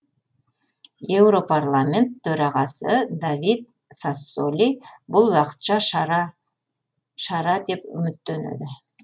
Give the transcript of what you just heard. еуропарламент төрағасы давид сассоли бұл уақытша шара шара деп үміттенеді